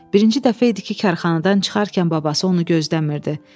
Birinci dəfə idi ki, karxanadan çıxarkən babası onu gözləmirdi.